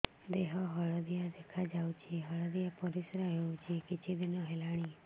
ଦେହ ହଳଦିଆ ଦେଖାଯାଉଛି ହଳଦିଆ ପରିଶ୍ରା ହେଉଛି କିଛିଦିନ ହେଲାଣି